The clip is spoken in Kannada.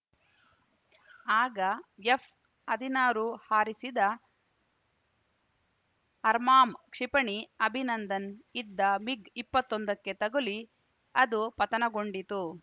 ಆಗ ಎಫ್‌ಹದಿನಾರು ಹಾರಿಸಿದ ಅಮ್ರಾಮ್‌ ಕ್ಷಿಪಣಿ ಅಭಿನಂದನ್‌ ಇದ್ದ ಮಿಗ್‌ಇಪ್ಪತ್ತೊಂದುಕ್ಕೆ ತಗುಲಿ ಅದು ಪತನಗೊಂಡಿತು